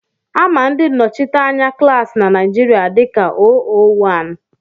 Á mà ndị nnọchiteanya klaasi na Naijiria dika óówán